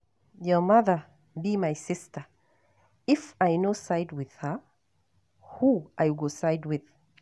Your mother be my sister if I no side with her who I go side with?